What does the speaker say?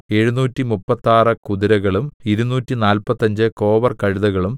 എഴുനൂറ്റിമുപ്പത്താറ് കുതിരകളും ഇരുനൂറ്റിനാല്പത്തഞ്ച് കോവർകഴുതകളും